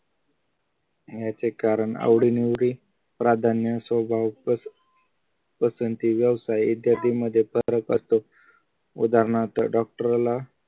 याचे कारण आवडीनिवडी प्राधान्य स्वभाव प पसंती व्यवसाय इत्यादी मजेत पत्र असते उदाहरणार्थ डॉक्टर ला